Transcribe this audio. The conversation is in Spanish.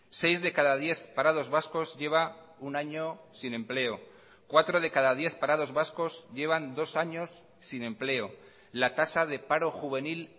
seis de cada diez parados vascos lleva un año sin empleo cuatro de cada diez parados vascos llevan dos años sin empleo la tasa de paro juvenil